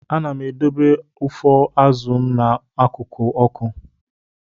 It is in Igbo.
Ana m edobe ụfọ azụ m n'akụkụ ọkụ.